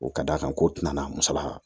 O ka d'a kan ko tɛna na musala